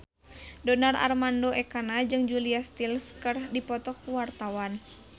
Donar Armando Ekana jeung Julia Stiles keur dipoto ku wartawan